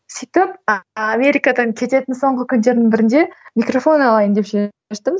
сөйтіп америкадан кететін соңғы күндердің бірінде микрофон алайын деп шештім